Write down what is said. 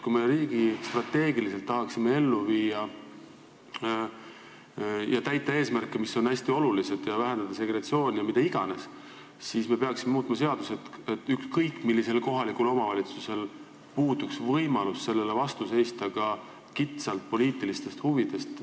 Kui me riigistrateegiliselt tahame täita eesmärke, mis on hästi olulised, vähendada segregatsiooni ja mida iganes, siis me peaksime muutma seadusi, et ükskõik millisel kohalikul omavalitsusel puuduks võimalus sellele vastu seista ka kitsalt poliitiliste huvide tõttu.